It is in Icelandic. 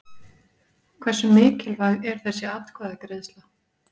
Hversu mikilvæg er þessi atkvæðagreiðsla?